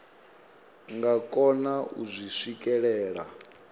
nga kona u zwi swikelela